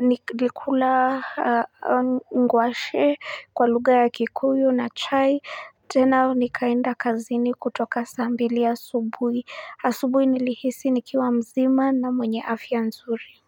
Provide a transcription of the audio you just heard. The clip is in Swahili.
nilikula nguashe kwa lugha ya kikuyu na chai, tena nikaenda kazini kutoka saa mbili asubuhi, asubuhi nilihisi nikiwa mzima na mwenye afya nzuri.